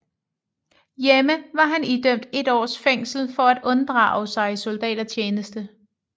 Hjemme var han idømt et års fængsel for at unddrage sig soldatertjeneste